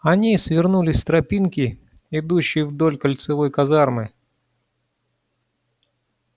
они свернули с тропинки идущей вдоль кольцевой казармы